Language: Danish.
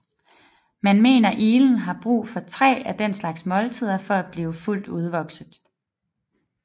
Man mener iglen har brug for tre af den slags måltider for at blive fuldt udvokset